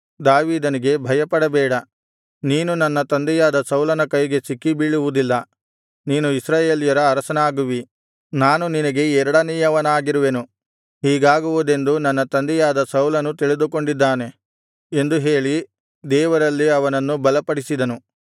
ದಾವೀದನಿಗೆ ಭಯಪಡಬೇಡ ನೀನು ನನ್ನ ತಂದೆಯಾದ ಸೌಲನ ಕೈಗೆ ಸಿಕ್ಕಿಬೀಳುವುದಿಲ್ಲ ನೀನು ಇಸ್ರಾಯೇಲ್ಯರ ಅರಸನಾಗುವಿ ನಾನು ನಿನಗೆ ಎರಡನೆಯವನಾಗಿರುವೆನು ಹೀಗಾಗುವುದೆಂದು ನನ್ನ ತಂದೆಯಾದ ಸೌಲನೂ ತಿಳಿದುಕೊಂಡಿದ್ದಾನೆ ಎಂದು ಹೇಳಿ ದೇವರಲ್ಲಿ ಅವನನ್ನು ಬಲಪಡಿಸಿದನು